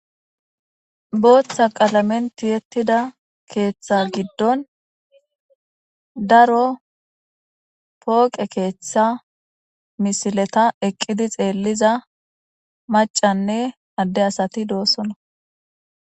booththa qalamen tiyettida keeththa giddon daro pooqe keeththa misileta eqqidi xeelliza macanne adde asati doossona